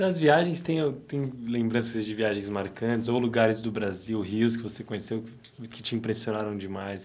Das viagens, tem au tem lembranças de viagens marcantes ou lugares do Brasil, rios que você conheceu, e e que te impressionaram demais?